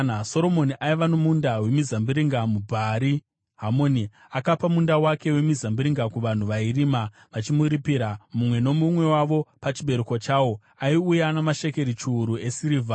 Soromoni aiva nomunda wemizambiringa muBhaari Hamoni; akapa munda wake wemizambiringa kuvanhu vairima vachimuripira. Mumwe nomumwe wavo pachibereko chawo aiuya namashekeri chiuru esirivha.